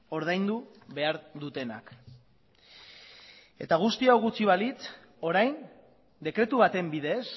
ordaindu behar dutenak eta guzti hau gutxi balitz orain dekretu baten bidez